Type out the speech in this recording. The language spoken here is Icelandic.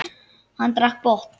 Hann drakk í botn.